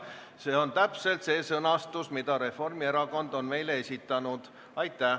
See on täpselt see sõnastus, mille Reformierakond on meile esitanud.